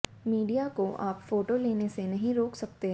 media को आप photo लेने से नहीं रोक सकते